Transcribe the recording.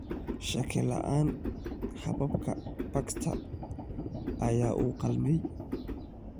Shaki la'aan, hababka Baxter ayaa u qalmay.